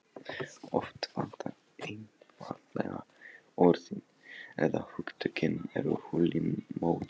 Oft vantar einfaldlega orðin- eða hugtökin eru hulin móðu.